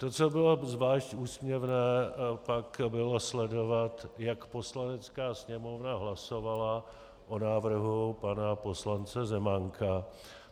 To, co bylo zvlášť úsměvné, pak bylo sledovat, jak Poslanecká sněmovna hlasovala o návrhu pana poslance Zemánka.